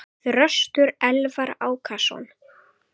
Þröstur Elvar Ákason.